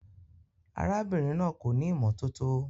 Arábìnrin náà kò ní ìmọ́tótó.